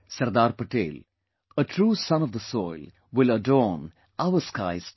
Sardar Patel, a true son of the soil will adorn our skies too